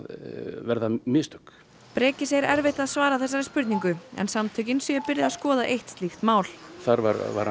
verða mistök Breki segir erfitt að svara þessari spurningu en samtökin séu byrjuð að skoða eitt slíkt mál þar var